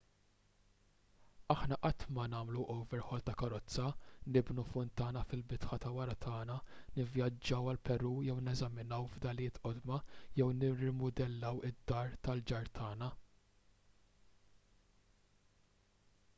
aħna qatt ma nagħmlu overhaul ta' karozza nibnu funtana fil-bitħa ta' wara tagħna nivvjaġġaw għall-peru biex neżaminaw fdalijiet qodma jew nirrimudellaw id-dar tal-ġar tagħna